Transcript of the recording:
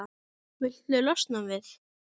Viltu losna við-?